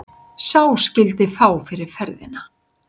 Sá skyldi fá fyrir ferðina.